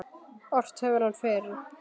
Ort hefur hann fyrr.